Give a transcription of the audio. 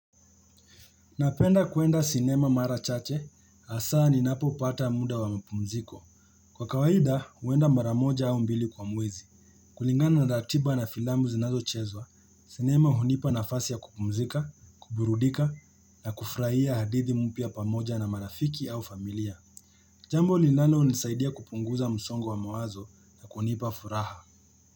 Napenda kuenda sinema mara chache, asa ni napo pata muda wa mapumziko. Kwa kawaida, uwenda maramoja au mbili kwa mwezi. Kulingana na ratiba na filambu zinazo chezwa, sinema hunipa nafasi ya kupumzika, kuburudika, na kufurahia hadithi mpia pamoja na marafiki au familia. Jambo linalo nisaidia kupunguza msongo wa mawazo na kunipa furaha.